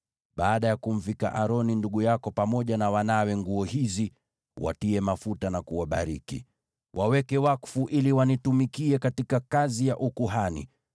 Baada ya kumvika Aroni ndugu yako pamoja na wanawe nguo hizi, watie mafuta na kuwabariki. Waweke wakfu ili wanitumikie katika kazi ya ukuhani.